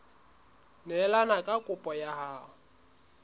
neelane ka kopo ya hao